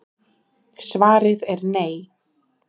Svarið er nei.